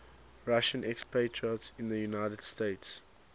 russian expatriates in the united states